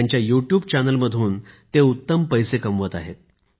त्यांच्या YouTube channel मधून ते उत्तम पैसे कमावत आहेत